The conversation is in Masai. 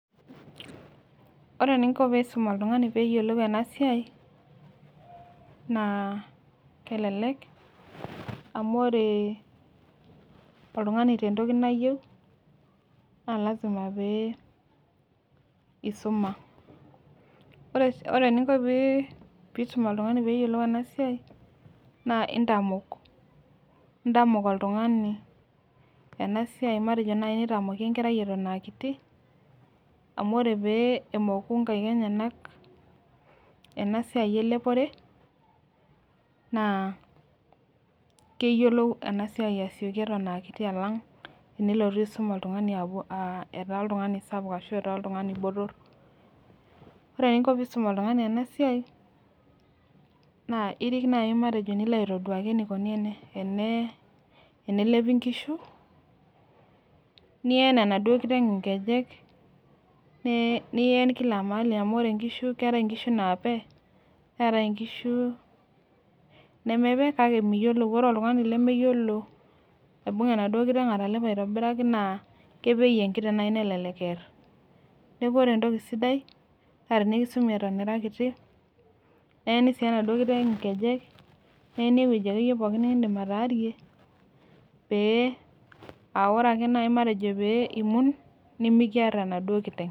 Ore eninko piisum oltung'ani peeyiolou enasiai naa kelelek amu oree oltung'ani tentoki nayeu naa  lazima pee eisuma. Ore eninko pii pisum oltung'ani peeyiolou enasiai naa intamok, intamok oltung'ani enasiai matejo neitamoki enkerai eton aakiti, amu ore pee emoku nkaik enyenak enasiai elepore naa keyiolou enasiai asioki eton aakiti alang' enilotu aisum oltung'ani aah etaa oltung'ani sapuk ashu etaa oltung'ani botorr. Ore eninko piisum oltung'ani enasiai naa irik nai matejo nilo aitoduaki matejo eneikuni ene enee enelepi nkishu, nien enaduo kiteng' inkejek, nee nien kila mahali amu ore nkishu keetai inkishu naape neetai inkishu nemepe kake miyiolou ore oltung'ani lemeyiolo aibung'a naduo kiteng' atalepo aitobiraki naa kepeyu enkiteng' nai nelelek earr. Neaku ore entoki sidai naa tinikisumi eton ira kiti , neeni sii enaduo kiteng' inkejek, neeni ewueji akeyie pooki nikindim ataarie, pee aaore ake nai matejo pee imun nimikiarr enaduo kiteng'.